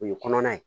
O ye kɔnɔna ye